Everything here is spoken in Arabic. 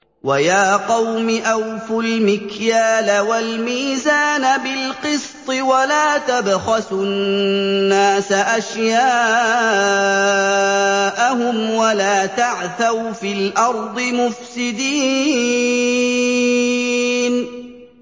وَيَا قَوْمِ أَوْفُوا الْمِكْيَالَ وَالْمِيزَانَ بِالْقِسْطِ ۖ وَلَا تَبْخَسُوا النَّاسَ أَشْيَاءَهُمْ وَلَا تَعْثَوْا فِي الْأَرْضِ مُفْسِدِينَ